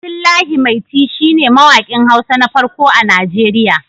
Abdullahi Maiti shi ne mawaƙin Hausa na farko a Nigeriya